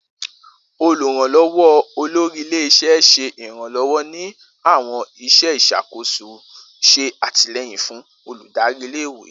Oluranlọwọ olori ile-iṣẹ ṣe iranlọwọ ni awọn iṣẹ iṣakoso, ṣe atilẹyin fun oludari ìle-ìwe.